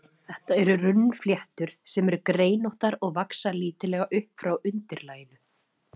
Þetta eru runnfléttur, sem eru greinóttar og vaxa lítillega upp frá undirlaginu.